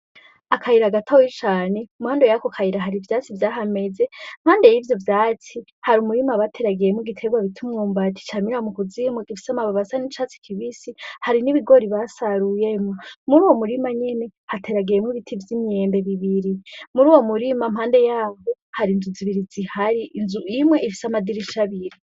Akayira gatoyi cane. Impande y'ako kayira hari ivyatsi vyahameze. Impande y'ivyo vyatsi hari umurima bateragiyemwo igiterwa bita umwumbati camira mu kuzmu gifise amababi asa n'icatsi kibisi, hari n'ibigori basaruyemwo. Muri wo murima nyene, hateragiyemwo ibiti vy'imyembe bibiri. Muri uwo murima impande yavyo hari inzu zibiri zihari, inzu imwe ifise amadirisha abiri.